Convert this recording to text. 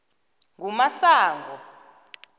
ngumasango